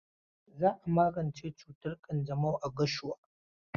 Za a magance cutar ƙanjamau a Gashuwa.